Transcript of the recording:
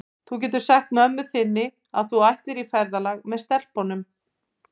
Þú getur sagt mömmu þinni að þú ætlir í ferðalag með stelpunum.